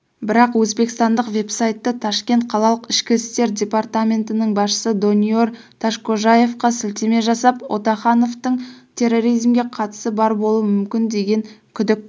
бірақ өзбекстандық вебсайты ташкент қалалық ішкі істер департаментінің басшысы дониор ташкожаевқа сілтеме жасап отахановтың терроризмге қатысы бар болуы мүмкін деген күдік